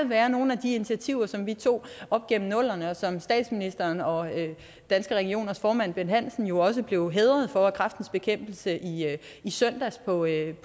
være nogle af de initiativer som vi tog op gennem nullerne og som statsministeren og danske regioners formand bent hansen jo også blev hædret for af kræftens bekæmpelse i søndags på world